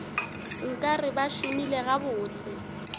nka re ba šomile gabotse